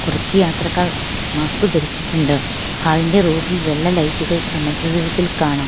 കുറച്ച് യാത്രക്കാർ മാസ്ക് ധരിച്ചിട്ടുണ്ട് ഹാൾ ഇൻ്റെ റൂഫ് ഇൽ വെള്ള ലൈറ്റുകൾ സമചതുരത്തിൽ കാണാം.